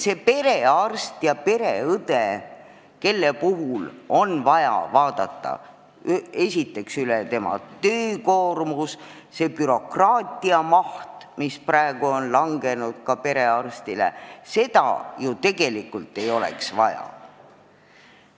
Oleks vaja üle vaadata perearsti ja pereõe töökoormus, selle bürokraatia maht, mis praegu on langenud ka perearstile ja mida ju tegelikult ei oleks vaja.